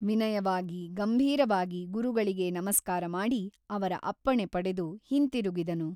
ವಿನಯವಾಗಿ ಗಂಭೀರವಾಗಿ ಗುರುಗಳಿಗೆ ನಮಸ್ಕಾರಮಾಡಿ ಅವರ ಅಪ್ಪಣೆ ಪಡೆದು ಹಿಂತಿರುಗಿದನು.